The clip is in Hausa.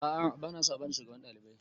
A'a ba na so a bani shugaban ɗalibai